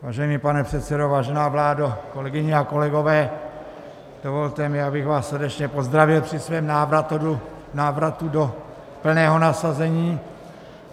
Vážený pane předsedo, vážená vládo, kolegyně a kolegové, dovolte mi, abych vás srdečně pozdravil při svém návratu do plného nasazení.